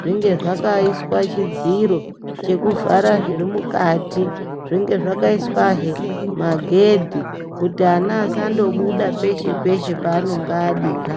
zvinge zvakaiswa chidziro chekuvhara zviri mukati zvinge zvakaiswazve he magedhi kuti ana asando buda peshe peshe paanonga adira.